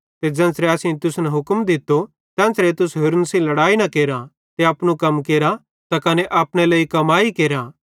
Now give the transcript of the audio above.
ते ज़ेन्च़रे असेईं तुसन हुक्म दित्तो तेन्च़रे तुस होरन सेइं लड़ाई न केरा ते अपनू कम केरा त कने अपने लेइ कमाई केरा